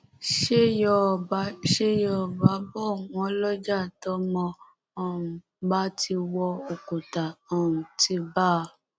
ṣé yọọbà ṣé yọọbà bò wọn lọjà tọmọ um bá ti wọ òkúta um ti bá a